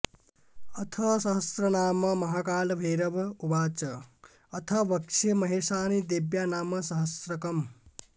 अथ सहस्रनाम महाकालभैरव उवाच अथ वक्ष्ये महेशानि देव्या नामसहस्रकम्